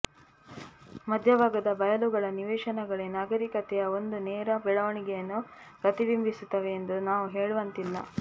ಮಧ್ಯಭಾಗದ ಬಯಲುಗಳ ನಿವೇಶನಗಳೇ ನಾಗರಿಕತೆಯ ಒಂದು ನೇರ ಬೆಳವಣಿಗೆಯನ್ನು ಪ್ರತಿಬಿಂಬಿಸುತ್ತವೆ ಎಂದು ನಾವು ಹೇಳುವಂತಿಲ್ಲ